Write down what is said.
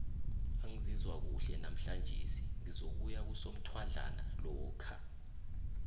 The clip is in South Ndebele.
angizizwa kuhle namhlanjise ngizokuya kusomthwadlana lokha